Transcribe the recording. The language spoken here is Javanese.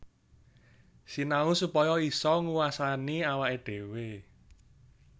Sinau supaya isa nguwasani awaké dhéwé